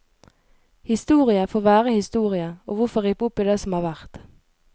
Historie får være historie, og hvorfor rippe opp i det som har vært.